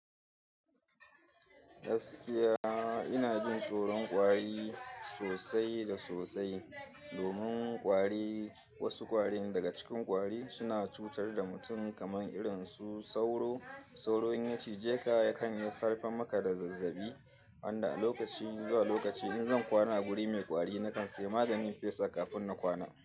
Gaskiya ina jin tsoron kwari sosai da sosai. Domin kwari, wasu kwari daga cikin kwari suna cutar da mutum kamar irin su sauro. Sauro in ya cije ka yakan iya sarrafa maka da zazzabi wanda a lokaci zuwa lokaci in zan kwana a guri mai kwari nakan saya maganin fesa kafin na kwana.